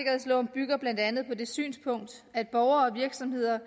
bygger blandt andet på det synspunkt at borgere og virksomheder